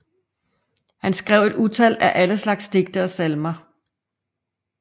Han skrev et utal af alle slags digte og salmer